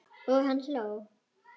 Og hann hló.